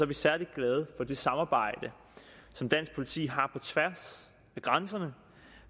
vi særlig glade for det samarbejde som dansk politi har på tværs af grænserne